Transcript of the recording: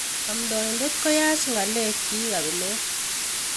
Omdoidet koyach ngalek kiyk kabilet.